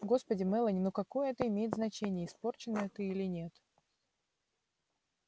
господи мелани ну какое это имеет значение испорченная ты или нет